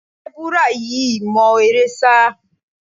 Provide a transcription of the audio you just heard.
Sẹ́búrà yìí mọ eré sá.